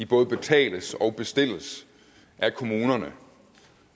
både betales og bestilles af kommunerne